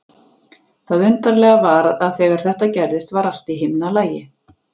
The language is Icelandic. Það undarlega var að þegar þetta gerðist var allt í himnalagi.